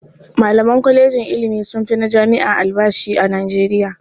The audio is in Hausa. Malaman kwalejin ilimi sun fi na jami'a albashi a Nijeriya.